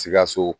Sikaso